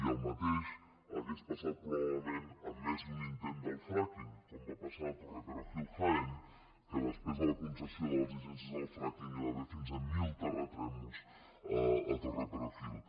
i el mateix hauria passat probablement en més d’un intent del fracking com va passar a torreperojil jaén que després de la concessió de les llicències del frackingmil terratrèmols a torreperojil